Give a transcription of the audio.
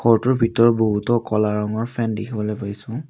ফটোৰ ভিতৰত বহুতো ক'লা ৰঙৰ ফেন দেখিবলৈ পাইছোঁ।